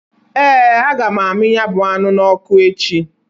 Ee! Aga m amị ya bụ anụ n'ọkụ echi.